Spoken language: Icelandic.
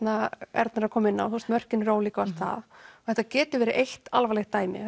Erna er að koma inná eru mörkin ólík og þetta getur verið eitt alvarlegt dæmi